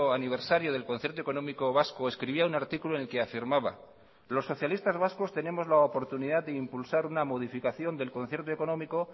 aniversario del concierto económico vasco escribía un artículo en el que afirmaba los socialistas vascos tenemos la oportunidad de impulsar una modificación del concierto económico